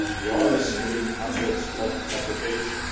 We are receiving hundreds of applications